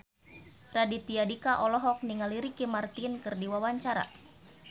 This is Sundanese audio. Raditya Dika olohok ningali Ricky Martin keur diwawancara